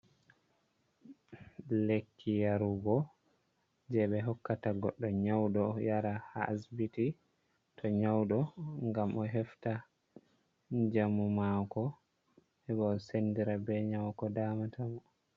Lekki yarugo jey ɓe hokkata goɗɗo nyawdo yara ha asibiti to nyawɗo, ngam o hefta njamu maako, heɓa o senndira bee nyawu ko daamata mo.